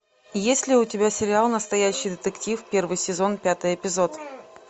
есть ли у тебя сериал настоящий детектив первый сезон пятый эпизод